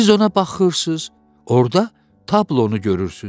Siz ona baxırsız, orda tablonu görürsüz.